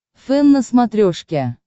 фэн на смотрешке